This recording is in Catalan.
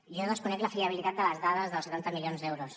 jo desconec la fiabilitat de les dades dels setanta milions d’euros